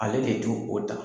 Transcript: Ale de du o ta